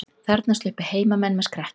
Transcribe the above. Þarna sluppu heimamenn með skrekkinn